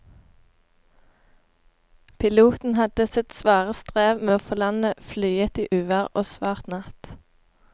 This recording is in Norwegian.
Piloten hadde sitt svare strev med å få landet flyet i uvær og svart natt.